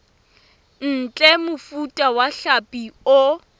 ntle mofuta wa hlapi o